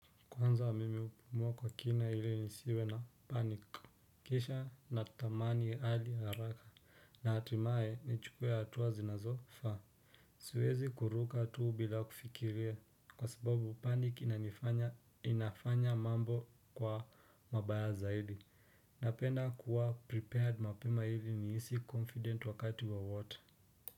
Kwanza wa mimi hupumua kwa kina ili nisiwe na panic kisha natamani hali haraka na hatimaye nichukue hatua zinazofaa siwezi kuruka tu bila kufikiria kwa sababu panic inanifanya inafanya mambo kuwa mabaya zaidi napenda kuwa prepared mapema ili nihisi confident wakati wowote.